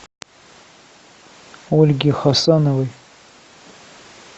ольге хасановой